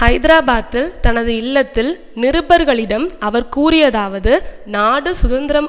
ஐதராபாத்தில் தனது இல்லத்தில் நிருபர்களிடம் அவர் கூறியதாவது நாடு சுதந்திரம்